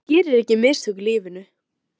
Hver gerir ekki mistök í lífinu?